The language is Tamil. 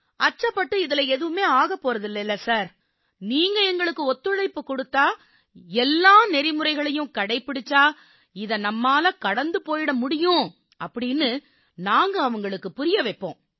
அச்சப்பட்டு எதுவும் ஆகப் போறதில்லை நீங்க எங்களுக்கு ஒத்துழைப்பு கொடுத்தா எல்லா நெறிமுறைகளையும் கடைப்பிடிச்சா இதை நம்மால கடந்து போயிர முடியும்ன்னு அப்ப நாங்க அவங்களுக்குப் புரிய வைப்போம்